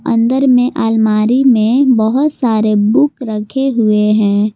अंदर में आलमारी में बहोत सारे बुक रखे हुए हैं।